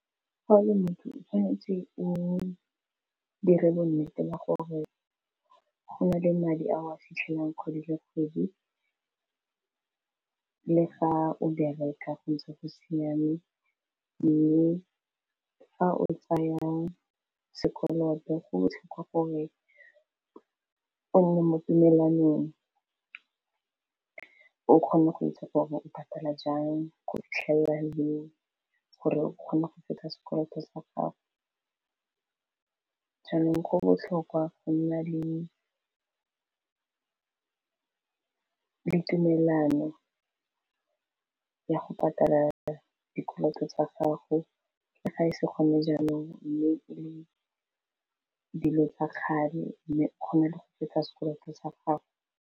Fa o le motho o tshwanetse o dire bo nnete ba gore go na le madi a o a fitlhelang kgwedi le kgwedi le fa o bereka ntse go siameng le fa o tsaya sekoloto go botlhokwa gore o nne mo dumelanong o kgone go itse gore o patala jang go fitlhelela leng gore o kgone go feta sekoloto sa gago jaanong go botlhokwa go nna le tumelano ya go patala fa dikoloto tsa gago le ga e se gone jaanong mme e le dilo tsa kgale mme kgone le go fetsa sekoloto tsa gago.